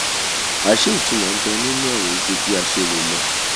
àṣé ìtunmọ̀ nbẹ nínú ọ̀rọ̀ yìí ju bí a ṣe rò lọ